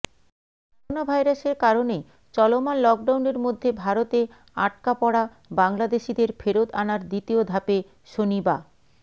করোনাভাইরাসের কারণে চলমান লকডাউনের মধ্যে ভারতে আটকা পড়া বাংলাদেশিদের ফেরত আনার দ্বিতীয় ধাপে শনিবা